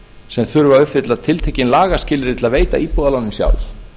sem þurfa að uppfylla tiltekin lagaskilyrði til að veita íbúðalánin sjálf